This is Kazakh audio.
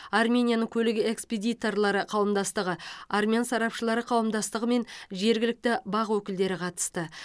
арменияның көлік экспедиторлары қауымдастығы армян сарапшылары қауымдастығы мен жергілікті бақ өкілдері қатысты